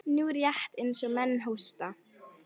Nú, rétt eins og menn hósta.